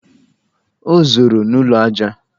O zoro n'ime ụlọ ajá!